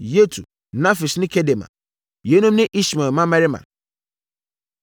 Yetur, Nafis ne Kedema. Yeinom ne Ismael mmammarima.